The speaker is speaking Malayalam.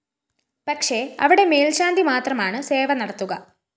പക്ഷെ അവിടെ മേല്‍ശാന്തി മാത്രമാണ് സേവ നടത്തുക